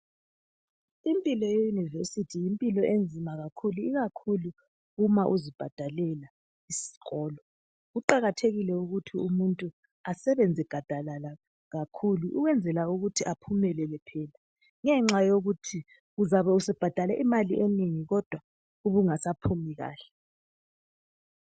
lmpilo ye yunivesithi yimpilo enzima kakhulu, ikakhulu uma uzibhadalela isikolo. Kuqakathekile ukuthi umuntu asebenze gadalala kakhulu ukwenzela ukuthi aphumelele phela ngenxa yokuthi uzabe usubhadale imali enengi kodwa kungasa phumi kahle.